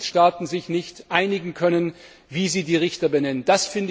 Weil die Mitgliedstaaten sich nicht einigen können, wie sie die Richter benennen.